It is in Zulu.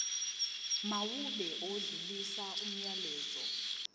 mawube odlulisa umyalezo